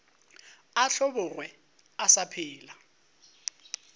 a hlobogwe a sa phela